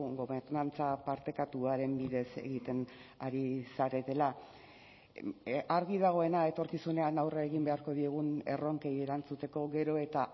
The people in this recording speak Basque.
gobernantza partekatuaren bidez egiten ari zaretela argi dagoena etorkizunean aurre egin beharko diegun erronkei erantzuteko gero eta